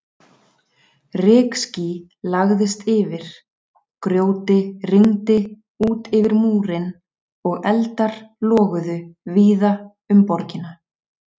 Rykský lagðist yfir, grjóti rigndi út yfir múrinn og eldar loguðu víða um borgina.